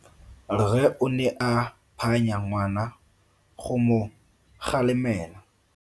Rre o ne a phanya ngwana go mo galemela.